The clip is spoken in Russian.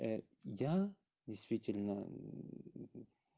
я действительно